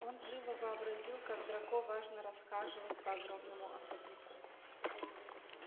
он живо вообразил как драко важно расхаживает по огромному особняку